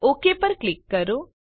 okay પર click કરો